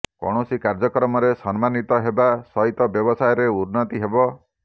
କୌଣସି କାର୍ଯ୍ୟକ୍ରମରେ ସମ୍ମାନିତ ହେବା ସହିତ ବ୍ୟବସାୟରେ ଉର୍ନ୍ନତି ହେବ